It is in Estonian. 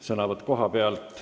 Sõnavõtt kohapealt.